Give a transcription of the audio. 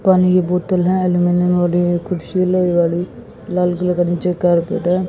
पानी बोतल है एल्यूमिनियम वाली कुर्सी लोहे वाली लाल कलर का नीचे कारपेट है।